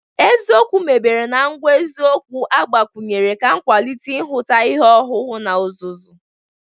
Eziokwu mebere na ngwa eziokwu agbakwunyere ga-akwalite nhụta ihe owuwu na ọzụzụ.